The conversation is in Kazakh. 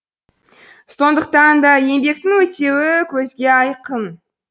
сондықтан да еңбектің өтеуі көзге айқын